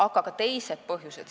Aga ka teisi põhjusi on.